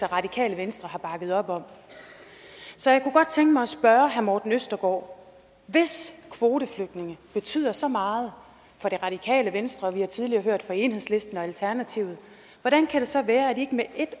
radikale venstre har bakket op om så jeg kunne godt tænke mig at spørge herre morten østergaard hvis kvoteflygtninge betyder så meget for det radikale venstre vi har tidligere hørt fra enhedslisten og alternativet hvordan kan det så være at man ikke med et